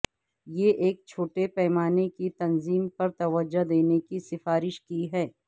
یہ ایک چھوٹے پیمانے کی تنظیم پر توجہ دینے کی سفارش کی ہے